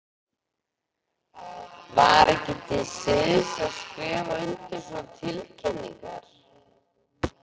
Var ekki til siðs að skrifa undir svona tilkynningar?